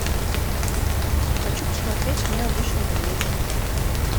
хочу посмотреть мы обычные медведи